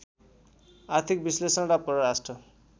आर्थिक विश्लेषण र परराष्ट्र